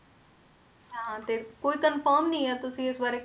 ਹਾਂ ਤੇ ਕੋਈ confirm ਨੀ ਹੈ ਤੁਸੀਂ ਇਸ ਬਾਰੇ,